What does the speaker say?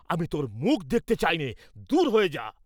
আমি তোর মুখ দেখতে চাই নে, দূর হয়ে যা।